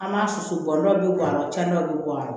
An b'a susu bɔ dɔ bɛ bɔ a la cɛnni dɔ bɛ bɔ a la